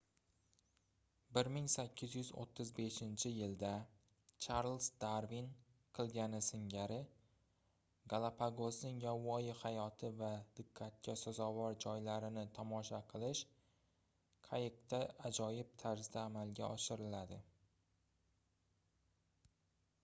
1835-yilda charliz darvin qilgani singari galapagosning yovvoyi hayoti va diqqatga sazovor joylarini tomosha qilish qayiqda ajoyib tarzda amalga oshiriladi